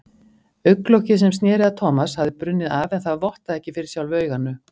Augnlokið sem sneri að Thomas hafði brunnið af en það vottaði ekki fyrir sjálfu auganu.